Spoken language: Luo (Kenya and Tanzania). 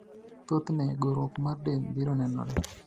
Thoth ne gorruok mar del biro nenore.